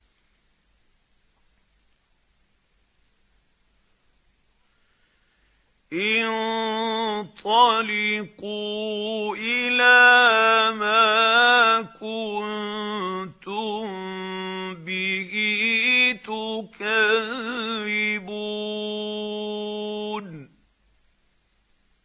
انطَلِقُوا إِلَىٰ مَا كُنتُم بِهِ تُكَذِّبُونَ